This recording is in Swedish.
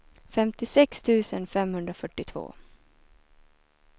femtiosex tusen femhundrafyrtiotvå